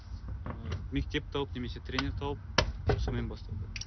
ыыы мектеп тауып немесе тренер тауып соныен бастау керек